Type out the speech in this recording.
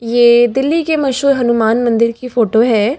ये दिल्ली के मशहूर हनुमान मंदिर की फोटो है।